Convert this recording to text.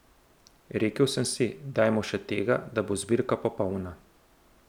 Rekel sem si, dajmo še tega, da bo zbirka popolna.